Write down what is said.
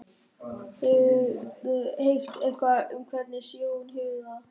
Hefurðu heyrt eitthvað um hvernig Sigrún hefur það?